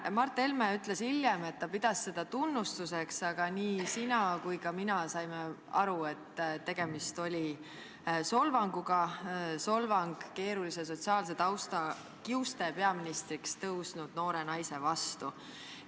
Mart Helme ütles hiljem, et ta pidas seda tunnustuseks, aga sina ja mina saime aru, et tegemist oli solvanguga, solvanguga keerulise sotsiaalse tausta kiuste peaministriks tõusnud noore naise pihta.